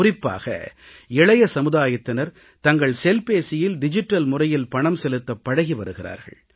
குறிப்பாக இளைய சமுதாயத்தினர் தங்கள் செல்பேசியில் டிஜிட்டல் முறையில் பணம் செலுத்தப் பழகி வருகிறார்கள்